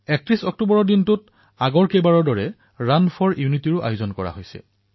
৩১ October তাৰিখে প্ৰতিবাৰৰ দৰে ৰাণ ফৰ ইউনিটীৰো আয়োজন কৰা হৈছে